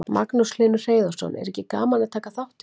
Magnús Hlynur Hreiðarsson: Er ekki gaman að taka þátt í þessu?